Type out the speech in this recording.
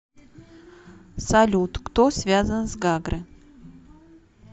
салют кто связан с гагры